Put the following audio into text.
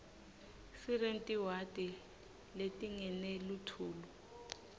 siretiniwadi letingeni lethluluif